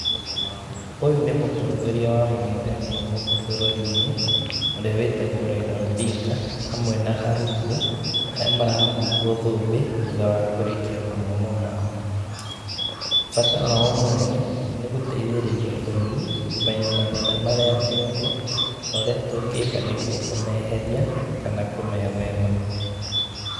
Ũyũ nĩ mũtongoria wa mũng'ethanĩro gũkũ bũrũri-inĩ, ũrĩa wĩtagwo Raila Odinga, hamwe na arutwo, arĩa marahumbwo thũmbĩ, thutha wa kũrĩkia mathomo mao. Bata wao mũnene, nĩ gũteithĩrĩria bũrũri, kũmenya mathĩna marĩa me kuo, na ũrĩa tũngĩka nĩguo kũmeheria, kana kũmethema.